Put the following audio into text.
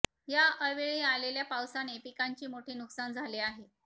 या अवेळी आलेल्या पावसाने पिकांचे मोठे नुकसान झाले आहे